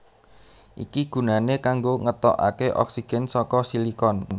Iki gunané kanggo ngetokaké oksigen saka silikon